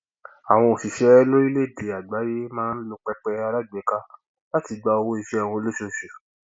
àwọn òṣìṣẹ lórílẹèdè àgbáyé máa ń lo pẹpẹ alágbèéká láti gba owó iṣẹ wọn lóṣooṣù